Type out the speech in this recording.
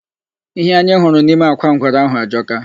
Ihe anyị hụrụ nime akwa ngwere ahụ ajọka.